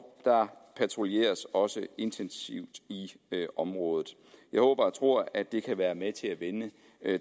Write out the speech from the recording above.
der patruljeres også intensivt i området jeg håber og tror at det kan være med til at vende